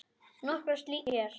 Nokkrar slíkar nefndar hér